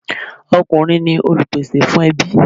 Ọkùnrin ni Olùpèsè fún ẹbí.